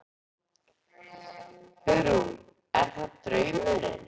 Hugrún: Er það draumurinn?